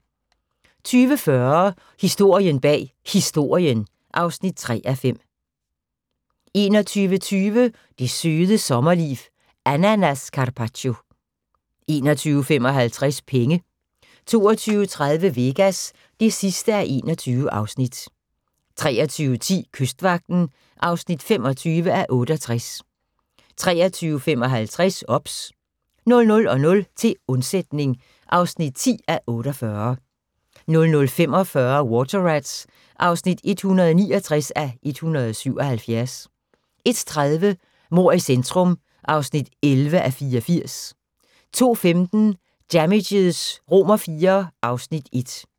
20:40: Historien bag Historien (3:5) 21:20: Det Søde Sommerliv – Ananascappacio 21:55: Penge 22:30: Vegas (21:21) 23:10: Kystvagten (25:68) 23:55: OBS 00:00: Til undsætning (10:48) 00:45: Water Rats (169:177) 01:30: Mord i centrum (11:84) 02:15: Damages IV (Afs. 1)